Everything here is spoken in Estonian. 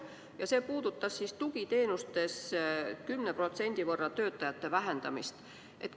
See näide puudutas tugiteenustes 10% võrra töötajate vähendamist.